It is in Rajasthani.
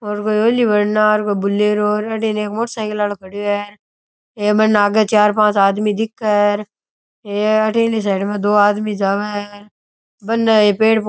और कोई हुली भंगार को बुलेरो अठीने एक मोटरसाइकिल आलो खड़यो है ए में आगे चार पांच आदमी दिखे है हे अठीन ली साइड में दो आदमी जावे है बने ये पेड़ पौ --